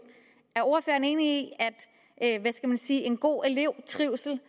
er ordføreren enig i at en god trivsel